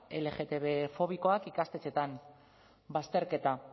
lgtbfobikoak ikastetxetan bazterketa